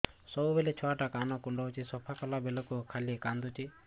ସବୁବେଳେ ଛୁଆ ଟା କାନ କୁଣ୍ଡଉଚି ସଫା କଲା ବେଳକୁ ଖାଲି କାନ୍ଦୁଚି